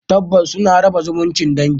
Tabbas suna raba zumuncin dangi